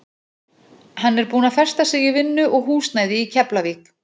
Hann er búinn að festa sig í vinnu og húsnæði í Keflavík.